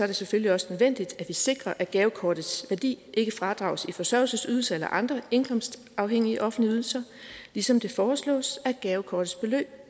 det selvfølgelig også nødvendigt at vi sikrer at gavekortets værdi ikke fradrages i forsørgelsesydelse eller andre indkomstafhængige offentlige ydelser ligesom det foreslås at gavekortets beløb